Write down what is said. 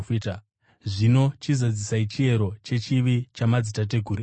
Zvino chizadzisai chiyero chechivi chamadzitateguru enyu!